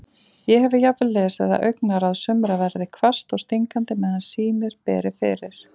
Ég hef jafnvel lesið að augnaráð sumra verði hvasst og stingandi meðan sýnir beri fyrir.